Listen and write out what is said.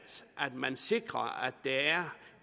at man sikrer at der er